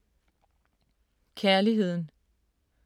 Kærligheden